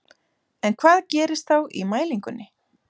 En hvað gerist þá í mælingunni?